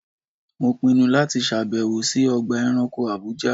Mo pinnu láti ṣàbẹ̀wò sí Ọgbà ẹranko Àbújá.